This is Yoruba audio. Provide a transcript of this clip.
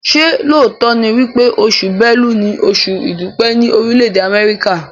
ṣe lóòtó ní wípé Oṣù Bélú ní Oṣù idupẹ ni Orile-ede Amẹrika?